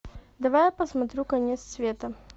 давай я посмотрю конец света